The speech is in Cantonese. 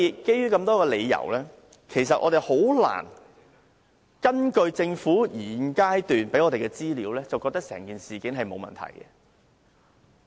基於多種理由，我們難以根據政府現階段提供的資料，認為整件事是沒有問題的。